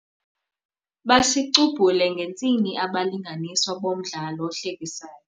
Basicubhule ngentsini abalinganiswa bomdlalo ohlekisayo.